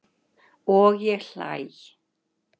Og ég hlæ.